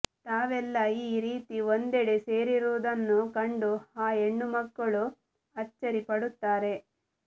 ತಾವೆಲ್ಲ ಈ ರೀತಿ ಒಂದೆಡೆ ಸೇರಿರುವುದನ್ನು ಕಂಡು ಆ ಹೆಣ್ಣುಮಕ್ಕಳು ಅಚ್ಚರಿ ಪಡುತ್ತಾರೆ